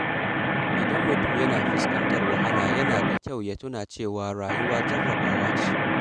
Idan mutum yana fuskantar wahala, yana da kyau ya tuna cewa rayuwa jarrabawa ce.